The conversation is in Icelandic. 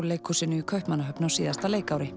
leikhúsinu í Kaupmannahöfn á síðasta leikári